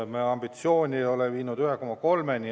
Me ambitsioon ei ole jõudnud 1,3 miljonini.